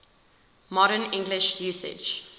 modern english usage